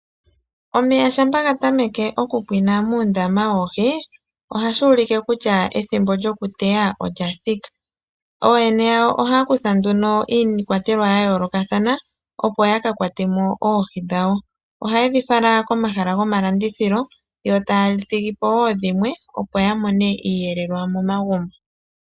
Omeya shampa ga tameke okupwinwa moondama dhoodhi, nena ohashi ulike kutya ethimbo lyokuyeya olya thika. Ooyene yomadhiya ohaya kutha nduno iikwatelwa ya yoolokathana, opo ya ka kwate mo oohi dhawo. Ohaye dhi fala komahala gomalandithilo, yo taya thigi po wo dhimwe opo ya mone iiyelelwa momagumbo.